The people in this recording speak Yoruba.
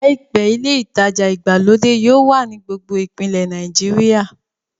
Làìpé, ilé ìtajà ìgbàlódé yóò wà ní gbogbo ìpínlẹ̀ Nàìjíríà